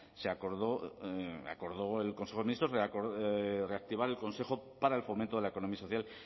acordó reactivar el consejo para el fomento de la economía social